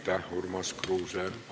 Aitäh, Urmas Kruuse!